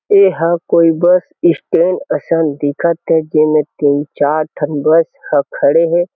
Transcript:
एहा कोई bus stand असन दिखत हे जेमा तीन चार ठन बस ह खड़े हे।